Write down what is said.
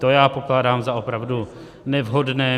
To já pokládám za opravdu nevhodné.